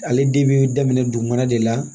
Ale den bɛ daminɛ dugumana de la